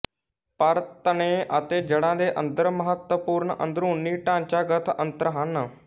ਪਰ ਤਣੇ ਅਤੇ ਜੜ੍ਹਾਂ ਦੇ ਅੰਦਰ ਮਹੱਤਵਪੂਰਨ ਅੰਦਰੂਨੀ ਢਾਂਚਾਗਤ ਅੰਤਰ ਹਨ